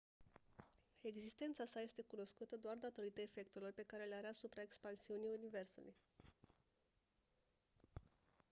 existența sa este cunoscută doar datorită efectelor pe care le are asupra expansiunii universului